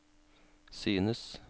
synes